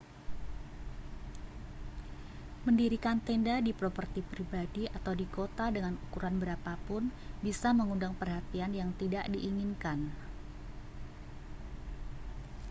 mendirikan tenda di properti pribadi atau di kota dengan ukuran berapa pun bisa mengundang perhatian yang tidak diinginkan